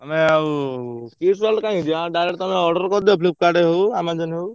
ତମେ ଆଉ kids କାଇକି ଯିବା? direct ତମେ order କରିଦିଅ Flipkart ରେ ହଉ Amazon ରେ ହଉ।